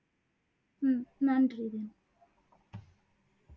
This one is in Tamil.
உம் நன்றி தீனா